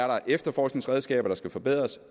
der er efterforskningsredskaber der skal forbedres